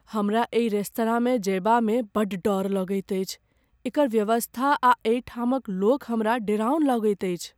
हमरा एहि रेस्तराँमे जयबामे बड़ डर लगैत अछि। एकर व्यवस्था आ एहिठामक लोक हमरा डेराउन लगैत अछि ।